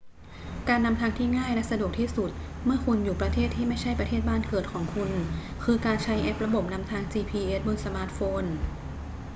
การนำทางที่ง่ายและสะดวกที่สุดเมื่อคุณอยู่ประเทศที่ไม่ใช่ประเทศบ้านเกิดของคุณคือการใช้แอประบบนำทาง gps บนสมาร์ทโฟน